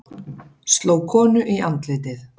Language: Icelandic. Sló konu í andlitið